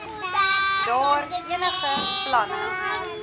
daar enige planne